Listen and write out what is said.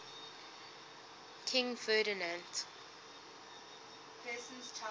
king ferdinand